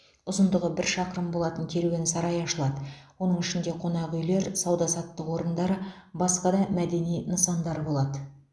ұзындығы бір шақырым болатын керуен сарай ашылады оның ішінде қонақүйлер сауда саттық орындар басқа да мәдени нысандар болады